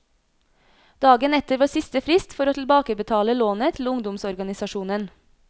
Dagen etter var siste frist for å tilbakebetale lånet til ungdomsorganisasjonen.